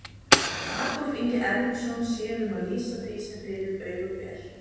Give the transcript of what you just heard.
Adolf Ingi Erlingsson sér um að lýsa því sem fyrir augu ber.